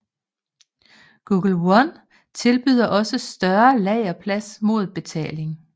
Google One tilbyder også større lagerplads mod betaling